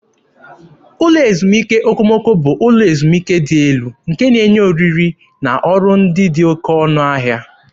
Ụlọ ezumike okomoko bụ ụlọ ezumike dị elu nke na-enye ihe oriri na ọrụ ndị dị oké ọnụ ahịa.